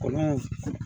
Kɔlɔn